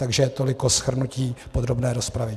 Takže toliko shrnutí podrobné rozpravy.